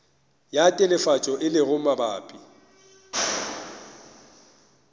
ya telefatšo e lego mabapi